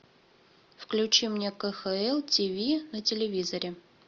включи мне кхл тв на телевизоре